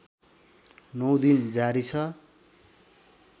९ दिन जारी छ